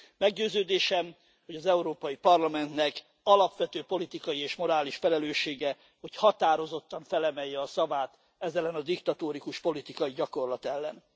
Meggyőződésem, hogy az Európai Parlamentnek alapvető politikai és morális felelőssége, hogy határozottan felemelje a szavát ez ellen a diktatórikus politikai gyakorlat ellen.